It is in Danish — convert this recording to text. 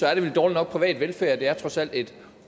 er det vel dårligt nok privat velfærd det er trods alt et